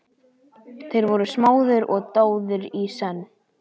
Þeir voru smáðir og dáðir í senn.